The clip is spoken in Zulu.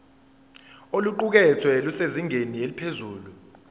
oluqukethwe lusezingeni eliphezulu